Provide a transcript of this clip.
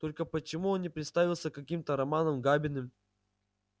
только почему он не представился каким-то романом габиным